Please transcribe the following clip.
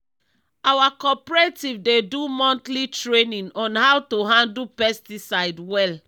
our cooperative dey do monthly training on how to handle pesticide well.